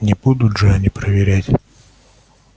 не будут же они проверять